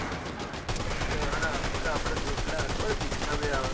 કન મજ આપડ પેલાયા પીચ્સાજ હ